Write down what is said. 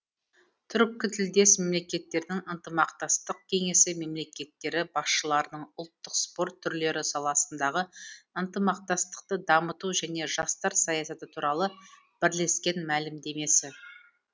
түркі тілдес мемлекеттердің ынтымақтастық кеңесі мемлекеттері басшыларының ұлттық спорт түрлері саласындағы ынтымақтастықты дамыту және жастар саясаты туралы бірлескен мәлімдемесі